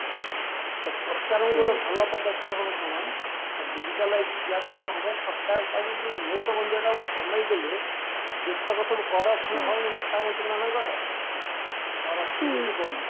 ତ ସରକାରଙ୍କ ଗୋଟେ ଭଲ ପଦକ୍ଷେପ ହବ କଣ ନା digitalize ୟା ଦ୍ୱାରା କଣ ହବ ସରକାର ଯୋଉ ନୋଟବନ୍ଦି ଟା କୁ କମେଇଦେଲେ ଯେତକ ସବୁ corruption ହଉନି ନେତା ମନ୍ତ୍ରୀ ମାନଙ୍କର corruption ବନ୍ଦ ହେଇଯିବ